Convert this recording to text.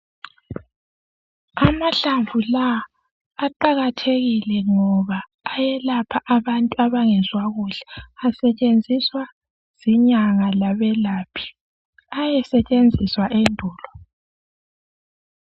Amahlamvu lawa aqakathekile ngoba ayelapha abantu abangezwa kuhle asetshenziswa zinyanga labelaphi, ayesetshenziswa endulo.